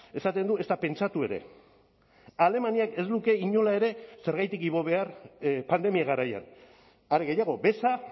esaten du ezta pentsatu ere alemaniak ez luke inola ere zergatik igo behar pandemia garaian are gehiago beza